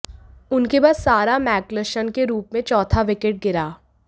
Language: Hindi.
उनके बाद सारा मैक्गलशन के रूप में चौथा विकेट गिरा